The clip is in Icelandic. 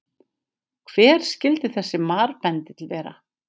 Hver skyldi þessi marbendill vera?